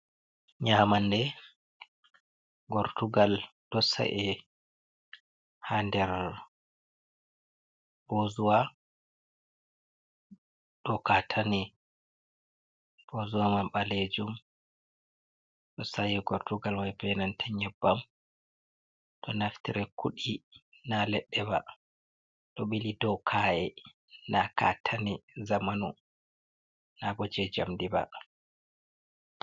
Nyamande: gortugal ɗo sa’e ha nder bozuwa dou kata ne, bozuwa man ɓalejum ɗo sa'e gortugal mai be nantan nyebbam ɗo naftire kudi na leɗɗe ba ɗo bili do ka’e na katani zamanu na bo je jamdi ba.